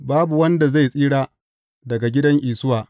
Babu wanda zai tsira daga gidan Isuwa.